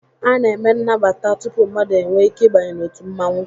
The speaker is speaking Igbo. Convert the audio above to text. A na-eme nagbata tupu mmadụ enwee ike ịbanye n'òtù mmanwu